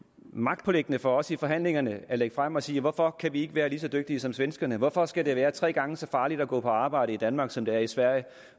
magtpåliggende for os i forhandlingerne at lægge det frem og sige hvorfor kan vi ikke være lige så dygtige som svenskerne hvorfor skal det være tre gange så farligt at gå på arbejde i danmark som det er i sverige